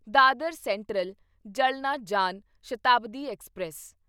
Dadar central Jalna Jan Shatabdi express